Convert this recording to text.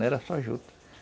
Não era só juta.